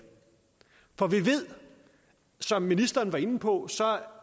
for vi ved som ministeren var inde på